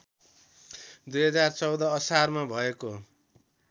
२०१४ असारमा भएको